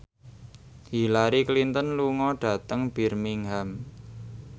Hillary Clinton lunga dhateng Birmingham